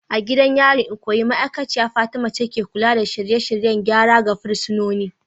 A gidan yarin Ikoyi, ma'aikaciya Fatima ce ke kula da shirye-shiryen gyara ga fursunonin.